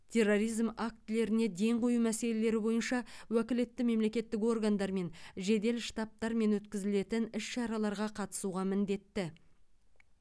терроризм актілеріне ден қою мәселелері бойынша уәкілетті мемлекеттік органдармен жедел штабтармен өткізілетін іс шараларға қатысуға міндетті